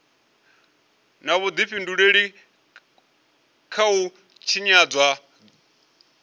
na vhudifhinduleli kha u tshinyadzwa